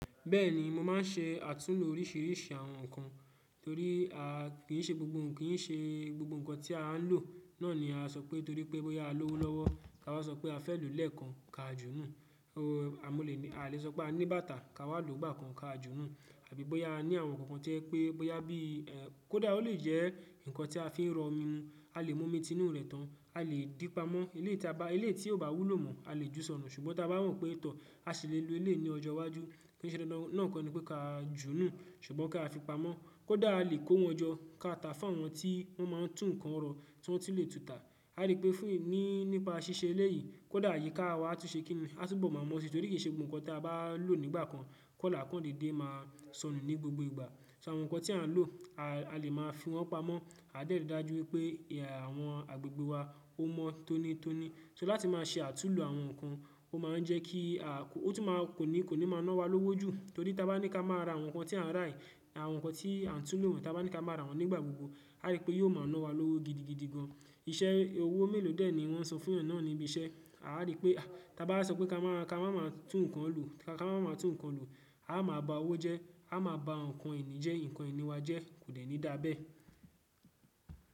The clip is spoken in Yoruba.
Bẹ́ẹ̀ni mo máa ń ṣe àtúnlo oríṣiríṣi àwọn nǹkan torí kì í ṣe gbogbo nǹkan ki se gbogbo nkan tí a ń lò náà ni a sọ pé torí pé bóyá a lọ́wọ́lọ́wọ́ ká wa sọ pé a fẹ́ lòó lẹ́ẹ̀kan ka jú nu. A lè sọ pé a ní bàtà ká wa lòó gbà kan ka jú nu. Àbí bóyá a ní àwọn nǹkan kan to yẹ pé bóyá bí kódà ó lè jẹ́ ǹkan tí a fi ń rọ omi ni a lè mú omi tinu rẹ̀ tán, a lè dípamọ́. Eleyi tí a bá, ilé tí ò bá wúlò mọ̀ a lè júsọ̀nà ṣùgbọ́n tí a bá rò pé tọ́ a ṣi le lo eleyi ní ọjọ́ iwájú kí nìṣe dandan na koni pé ká jú nú pe ka junu ṣùgbọ́n ká fi pamọ́. Kódà a lè kó wọn jọ ká ta fún àwọn tí wọ́n máa ń tún nǹkan ro tí wọ́n ti le tuta. A rí pé fún ní nípa ṣíṣe eléyìí kódà àyíká wa á tún ṣe kín ní a túbọ̀ máa mọ̀ ọ́n si torí kì í ṣe gbogbo nǹkan tí a bá lò nígbà kan kó là kán dédé máa sọnù ní gbogbo ìgbà. So àwọn nǹkan tí a ń lò a lè máa fi wọ́n pamọ́ a dẹ́ri dájú wípé àwọn agbègbè wa ó mọ́ tónítóní. So láti máa ṣe àtúnlo àwọn nǹkan ó máa ń jẹ́ kí a kò, ó tún máa kò ní kò ní máa ná wa lówó jù torí tí a bá ní ká má ra àwọn nǹkan tí a ń rà yìí àwọn nǹkan tí a ń túnlo tí a bá ní ká má ra wọ́n nígbà gbogbo a rí pé yóò máa ná wa lówó gidigidi gan an. Iṣẹ́ owó mélòó dè ẹ ní wọ́n sọ fún ènìyàn náà níbi iṣẹ́ a rí pé a tí a bá sọ pé ká má tún nǹkan lò ká má tún nǹkan lò a máa ba owó jẹ́ a máa ba nǹkan ìní jẹ́, nǹkan ìní wa jẹ́ kò ní dàbẹ́.